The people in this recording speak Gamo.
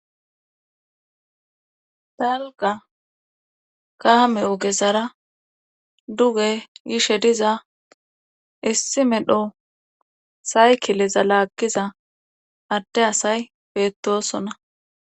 Dalga kaame ogezara duge gishe diza issi medho saykileza laaggiza adde asay beettosonna.